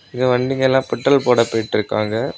இங்க வண்டிங்கெல்லாம் பெட்ரோல் போட போயிட்டு இருக்காங்க.